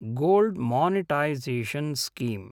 gold monetisation scheme